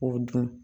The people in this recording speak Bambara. O dun